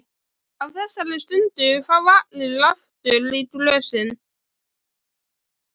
Á þessari stundu fá allir aftur í glösin.